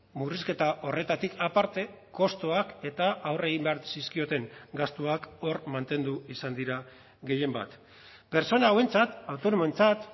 murrizketa horretatik aparte kostuak eta aurre egin behar zizkioten gastuak hor mantendu izan dira gehienbat pertsona hauentzat autonomoentzat